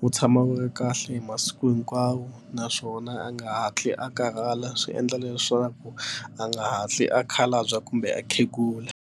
wu tshama wu nga kahle hi masiku hinkwawo naswona a nga hatli a karhala swi endla leswaku a nga hatli a khalabya kumbe a khegula.